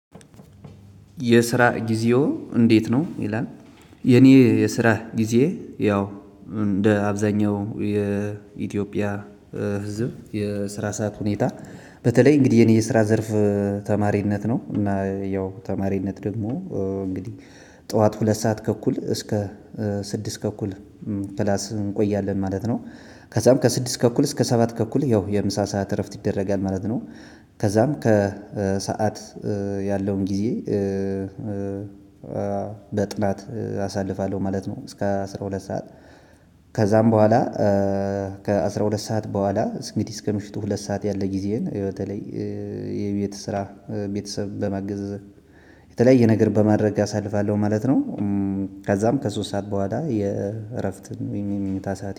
የስራ ጊዜው እንዴት ነው ይላል? የኔ የስራ ጊዜ ያው እንደ አብዛኛው የኢትዮጵያ ህዝብ የስራ ሰዓት ሁኔታ በተለይ እንግዲህ የኔ የስራ ዘርፍ ተማሪነት ነው። እና ያው ተማሪነት ደግሞ እንግዲህ ጠዋት ሁለት ሰዓት ከእኩል እስከ ስድስት ከኩል ክላስ እንቆያለን ማለት ነው። ከዛም ከስድስት ተኩል እስከ ሰባት ተኩል ያው የምሳ ሰዓት እረፍት ይደረጋል ማለት ነው። ከዛም ከሰአት ያለውን ጊዜ። በጥናት አሳልፋለሁ ማለት ነው እስከ አስራ ሁለት ሰዓት። ከዛም በኋላ። ከአስራ ሁለት ሰዓት በኋላ እንግዲህ እስከ ምሽቱ ሁለት ሰዓት ያለ ጊዜን ህይወቴ ላይ ስራ ቤተሰብ በማገዝ የተለያየ ነገር በማድረግ አሳልፋለሁ ማለት ነው። ከዛም ከሶስት ሰዓት በኋላ የእረፍትን ወይም የመኝታ ሰዓት